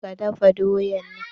Ka da ka dafa doyan nan!